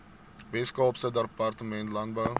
weskaapse departement landbou